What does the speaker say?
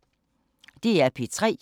DR P3